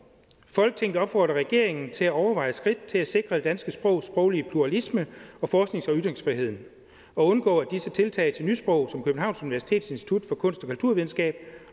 folketinget opfordrer regeringen til at overveje skridt til at sikre det danske sprogs sproglige pluralisme og forsknings og ytringsfriheden og undgå at disse tiltag til nysprog som københavns universitets institut for kunst og kulturvidenskab